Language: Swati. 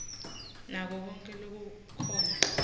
nako konkhe lokukhona